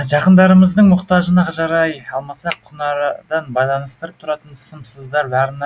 жақындарымыздың мұқтажына жарай алмасақ күнарадан байланыстырып тұратын сымсыздар барына